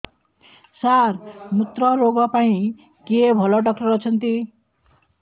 ସାର ମୁତ୍ରରୋଗ ପାଇଁ କିଏ ଭଲ ଡକ୍ଟର ଅଛନ୍ତି